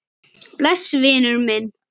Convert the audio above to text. Bless vinur minn.